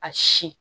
A si